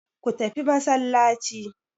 Ku tafi masallaci!